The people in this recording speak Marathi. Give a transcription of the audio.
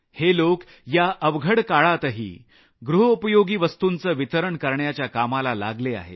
हे लोक या अवघड काळातही गृहोपयोगी वस्तुंचं वितरण करण्याच्या कामाला लागले आहेत